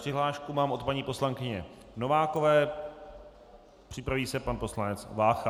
Přihlášku mám od paní poslankyně Novákové, připraví se pan poslanec Vácha.